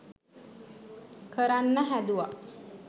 කරන්න හැදුව